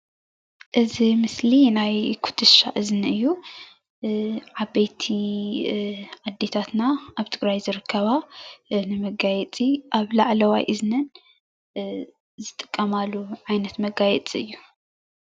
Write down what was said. እዚ ምስሊ ናይ ኩትሻ እዝኒ እዩ፡፡ ዓበይቲ ኣዴታትና ኣብ ትግራይ ዝርከባ ንመጋየፂ ኣብ ላዕለዋይ እዝነን ዝጥቀማሉ ዓይነት መጋየፂ እዩ፡፡